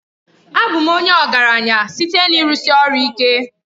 Abụ m ọgaranya site na ịrụsi ọrụ ike.